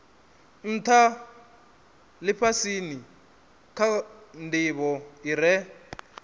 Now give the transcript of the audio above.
ntha lifhasini kha ndivho ire